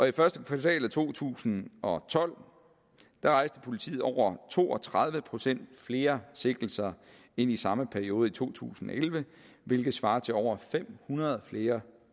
i første kvartal af to tusind og tolv rejste politiet over to og tredive procent flere sigtelser end i samme periode i to tusind og elleve hvilket svarer til over fem hundrede flere